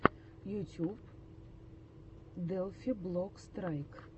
ютюб делфи блок страйк